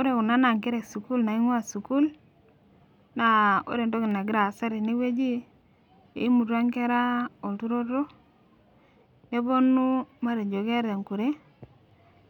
Ore kuna naa nkera esukuul naing'ua sukuul naa ore entoki nagira aasa tenewueji naa eimutua inkera olturoto neponu matejo keeta enkure